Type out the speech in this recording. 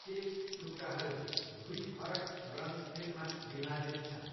Chess टुक्राहरू दुई फरक रङ सेटमा विभाजित छन्।